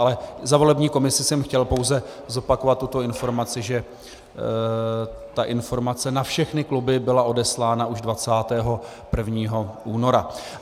Ale za volební komisi jsem chtěl pouze zopakovat tuto informaci, že ta informace na všechny kluby byla odeslána už 21. února.